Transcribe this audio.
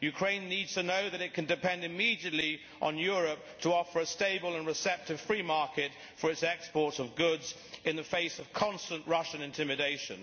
Ukraine needs to know that it can depend immediately on Europe to offer a stable and receptive free market for its exports of goods in the face of constant Russian intimidation.